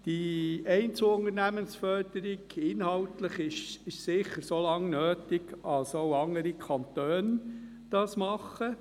Die Einzelunternehmensförderung – inhaltlich – ist sicher so lange nötig, als auch andere Kantone das tun.